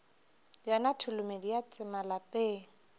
yona tholomedi ya tsema lapeng